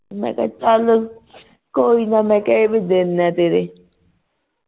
ਮੈਂ ਕਿਹਾ ਚੱਲ ਕੋਈ ਨਾ ਮੈਂ ਕਿਹਾ ਇਹ ਵੀ ਦਿਨ ਨੇ ਤੇਰੇ